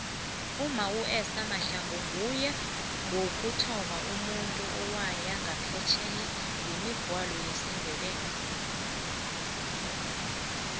umma uester mahlangu nguye wokuthoma umuntu owaya phesheye ngemigwalo yesindebele